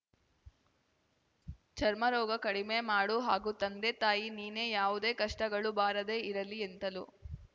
ಚರ್ಮ ರೋಗ ಕಡಿಮೆ ಮಾಡು ಹಾಗೂ ತಂದೆ ತಾಯಿ ನೀನೇ ಯಾವುದೇ ಕಷ್ಟಗಳು ಬಾರದೇ ಇರಲಿ ಎಂತಲೂ